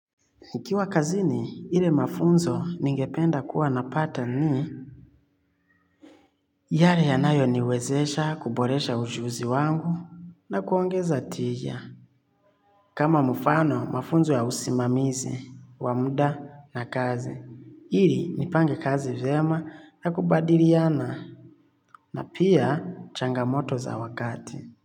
Ikiwa kazini, ile mafunzo ningependa kuwa napata ni yale yanayo niwezesha kuboresha ujuzi wangu na kuongeza tija. Kama mufano, mafunzo ya usimamizi, wa muda na kazi. Iri, nipange kazi vyema na kubadiriana. Na pia, changamoto za wakati.